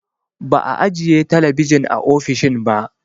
Ba'a ajiye talabijin a ofishin ba